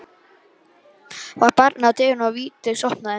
Það var barið að dyrum og Vigdís opnaði.